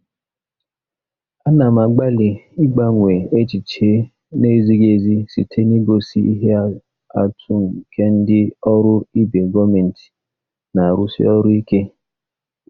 Ana m agbalị ịgbanwe echiche na-ezighị ezi site n'igosi ihe atụ nke ndị ọrụ ibe gọọmentị na-arụsi ọrụ ike.